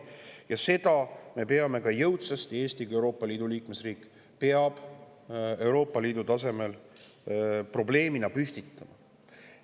Ja selle probleemi peab Eesti kui Euroopa Liidu liikmesriik Euroopa Liidu tasemel jõudsasti püstitama.